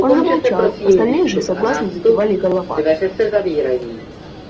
он замолчал остальные же согласно закивали головами